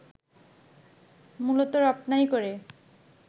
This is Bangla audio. মূলত রপ্তানি করে